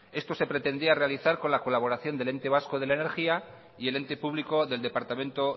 esto se pretendía realizar con la colaboración del ente vasco de la energía y el ente público del departamento